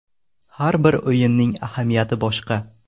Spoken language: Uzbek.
Har bir o‘yinning ahamiyati boshqa.